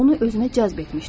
Onu özünə cəzb etmişdim.